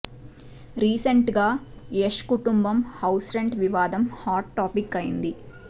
recent గా యష్ కుటుంబం house rent వివాదం హాట్ టాపిక్ అయింది